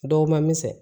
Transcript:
Dɔgɔma misɛn